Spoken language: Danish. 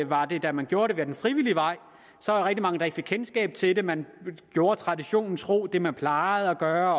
var der da man gjorde det ad den frivillige vej rigtig mange der ikke fik kendskab til det man gjorde traditionen tro det man plejede at gøre